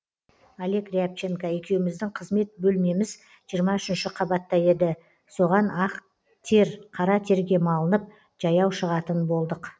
олег рябченко екеуміздің қызмет бөлмеміз жиырма үшінші қабатта еді соған ақ тер қара терге малынып жаяу шығатын болдық